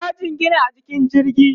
ya jingina a jikin jirgin